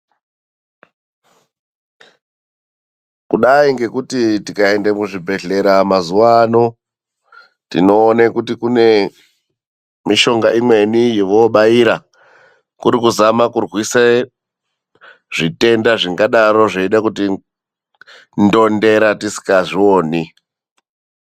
Kudai ngekuti tikaende kuzvibhedhlera mazuva ano tinoone kuti kune mishonga imweni yovoobaira. Kuri kuzama kurwise zvitenda zvingadaro zveide kutindondera tisikazvioni.